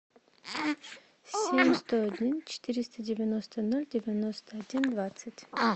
семь сто один четыреста девяносто ноль девяносто один двадцать